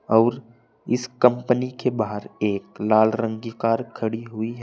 और इस कंपनी के बाहर एक लाल रंग की कार खड़ी हुई है।